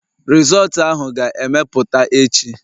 Rizọọtu ahụ ga-apụta echi